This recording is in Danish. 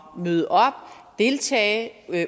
møde op deltage